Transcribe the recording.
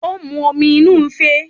Ó mu omi inú ife